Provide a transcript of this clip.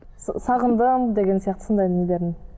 сағындым деген сияқты сондай нелерін